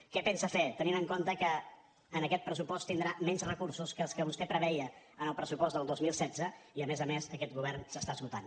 què pensa fer tenint en compte que en aquest pressupost tindrà menys recursos que els que vostè preveia en el pressupost del dos mil setze i a més a més aquest govern s’està esgotant